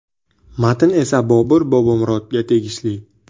Matn esa Bobur Bobomurodga tegishli.